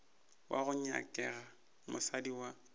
wo go nyakega mosadi wa